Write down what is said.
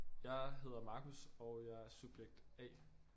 Jeg hedder Marcus og jeg er subjekt A